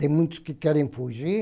Tem muitos que querem fugir,